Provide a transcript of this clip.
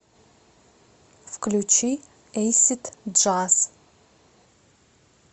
включи эйсид джаз